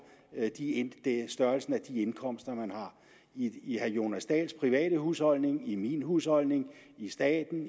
størrelsen af de indkomster man har i herre jonas dahls private husholdning i min husholdning i staten